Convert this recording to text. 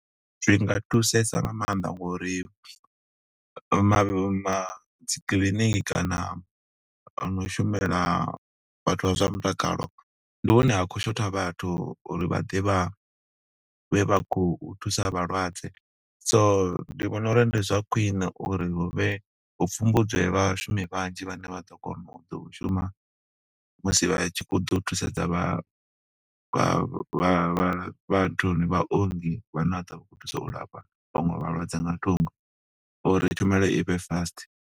Zwi nga thusesa nga maanḓa ngo uri ma ma dzikiḽiniki kana hono shumela vhathu vha zwa mutakalo, ndi hune ha khou shotha vhathu uri vha ḓe vha vhe vha khou thusa vhalwadze. So ndi vhona uri ndi zwa khwiṋe uri huvhe hu pfhumbudzwe vhashumi vhanzhi vhane vha ḓo kona u ḓo u shuma, musi vha tshi khou ḓa u thusedza vha vha vha vhala, vha nthuni, vhaongi vha ne vha ḓovha vha khou thusa u lafha vhaṅwe vhalwadze nga thungo, uri tshumelo ivhe fast.